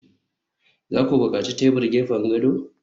za ku buƙaci tebur gefen gado?